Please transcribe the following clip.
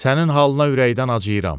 Sənin halına ürəkdən acıyıram.